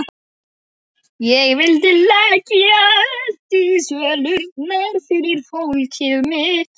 Á endanum sofnuðum við, þrátt fyrir kvíðann og kuldann.